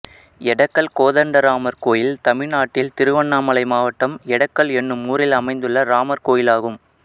எடக்கல் கோதண்டராமர் கோயில் தமிழ்நாட்டில் திருவண்ணாமலை மாவட்டம் எடக்கல் என்னும் ஊரில் அமைந்துள்ள ராமர் கோயிலாகும்